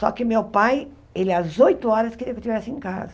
Só que meu pai, ele às oito horas queria que eu estivesse em casa.